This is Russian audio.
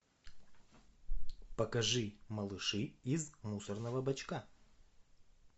покажи малыши из мусорного бачка